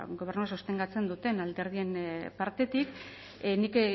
gobernua sostengatzen duten alderdien partetik nik